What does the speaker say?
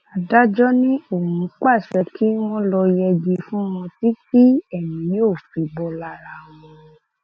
adájọ ni òun pàṣẹ kí wọn lọọ yẹgi fún wọn títí tí èmi yóò fi bò lára wọn